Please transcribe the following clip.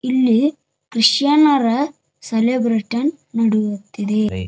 ಇಲ್ಲಿ ಕ್ರಿಶ್ಚಿಯನ್ನರ ಸೆಲೆಬ್ರೇಶನ್ ನಡೆಯುತ್ತಿದೆ .